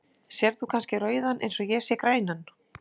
Sérð þú kannski rauðan eins og ég sé grænan?